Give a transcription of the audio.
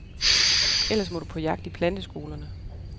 Ellers må du på jagt i planteskolerne.